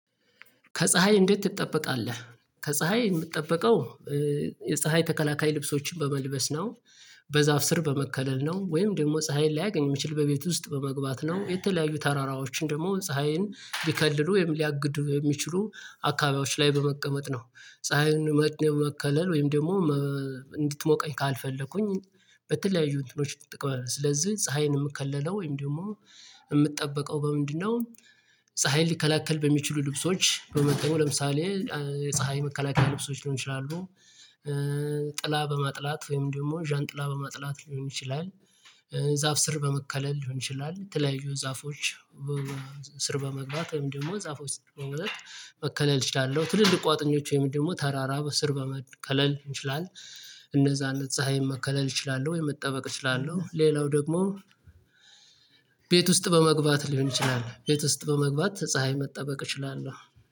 ከፀሀይ እንዴት ትጠበቃለህ? ከፀሀይ የምጠበቀው የፀሀይ ተከላካይ ልብሶችን በመልበስ ነው። በዛፍ ስር በመከለል ነው ወይም ደግሞ ፀሀይን ላያገኝ የሚችል በቤት ውስጥ በመግባት ነው። የተለያዩ ተራራዎችን ደግሞ ፀሀይን ሊከልሉ ወይም ሊያግዱ የሚችሉ አካባቢዎች ላይ በመቀመጥ ነው ፀሀይን መከለል ወይም ደግሞ እንድትሞቀኝ ካልፈለኩኝ በተለያዩ እንትኖች ትቀማለህ ስለዚህ ፀሀይን የምከለለው ወይም ደግሞ የምጠብቀው በምንድነው ፀሀይን ሊከላከል በሚችሉ ልብሶች በመጠኑ ለምሳሌ ፀሀይ መከላከያ ልብሶች ሊሆን ይችላሉ ጥላ በማጥላት ወይም ደግሞ ዣንጥላ በመጥላት ሊሆን ይችላል፣ ዛፍ ስር በመከለል ሊሆን ይችላል፣ የተለያዩ ዛፎች ስር በመግባት ወይም ደግሞ ዛፎች ስር በከለል እችላለሁ ትልልቅ ቋጥኞች ወይም ደግሞ ተራራ በስር በመከለል እንችላለን። እነዛን ፀሀይ መከለል እችላለሁ ወይም የመጠበቅ እችላለሁ። ሌላው ደግሞ ቤት ውስጥ በመግባት ሊሆን ይችላል ቤት ውስጥ በመግባት ፀሀይ መጠበቅ እችላለሁ።